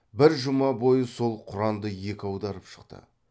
бір жұма бойы сол құранды екі аударып шықты